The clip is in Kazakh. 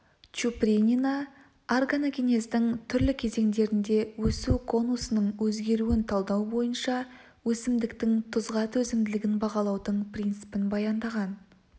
чупринина органогенездің түрлі кезеңдерінде өсу конусының өзгеруін талдау бойынша өсімдіктің тұзға төзімділігін бағалаудың принципін баяндаған